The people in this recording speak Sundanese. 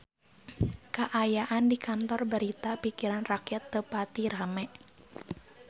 Kaayaan di Kantor Berita Pikiran Rakyat teu pati rame